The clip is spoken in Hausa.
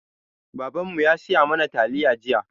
Babanmu ya saya mana taliya jiya.